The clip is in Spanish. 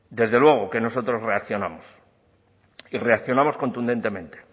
desde luego que nosotros reaccionamos y reaccionamos contundentemente